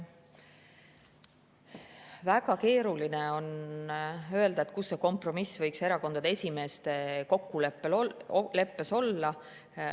Väga keeruline on öelda, kus see kompromiss võiks erakondade esimeeste kokkuleppes olla.